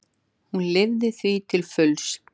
Hún lifði því til fulls.